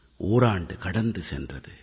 ஓராண்டு கடந்து சென்றது